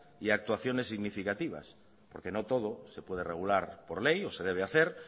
y actuaciones significativas porque no todo se puede regular por ley o se debe hacer